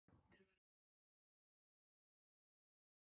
Þorbjörn Þórðarson: Geturðu nefnt mér eitt flókið viðfangsefni?